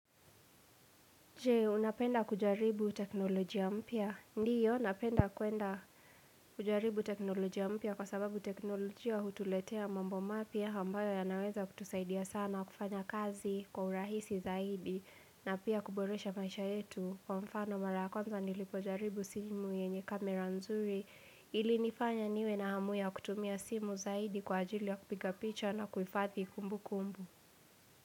Je unapenda kujaribu teknolojia mpya ndiyo napenda kwenda kujaribu teknolojia mpya kwa sababu teknolojia hutuletea mambo mapya ambayo ya naweza kutusaidia sana kufanya kazi kwa urahisi zaidi na pia kuboresha maisha yetu kwa mfano mara ya kwanza nilipo jaribu simu yenye camera nzuri ili nifanya niwe na hamu ya kutumia simu zaidi kwa ajili ya kupiga picha na kuifadhi kumbu kumbu.